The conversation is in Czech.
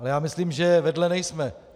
Ale já myslím, že vedle nejsme.